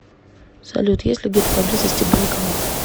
салют есть ли где то поблизости банкомат